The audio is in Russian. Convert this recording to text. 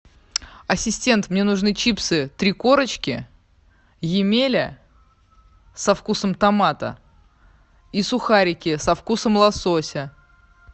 ассистент мне нужны чипсы три корочки емеля со вкусом томата и сухарики со вкусом лосося